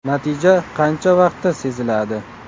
Natija qancha vaqtda seziladi?